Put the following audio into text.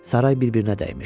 Saray bir-birinə dəymişdi.